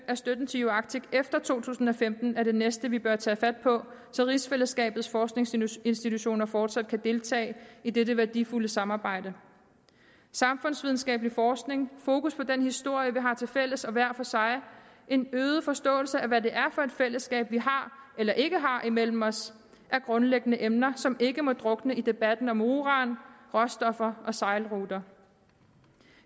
af støtten til uarctic efter to tusind og femten er det næste vi bør tage fat på så rigsfællesskabets forskningsinstitutioner fortsat kan deltage i dette værdifulde samarbejde samfundsvidenskabelig forskning fokus på den historie vi har tilfælles og hver for sig en øget forståelse af hvad det er for et fællesskab vi har eller ikke har imellem os er grundlæggende emner som ikke må drukne i debatten om uran råstoffer og sejlruter